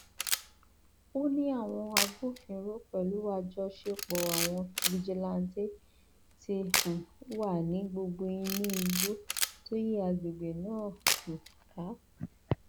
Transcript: ó ní àwọn agbófinró pẹlú àjọṣepọ àwọn fijilantàn ti um wà ní gbogbo inú igbó tó yí àgbègbè náà um ká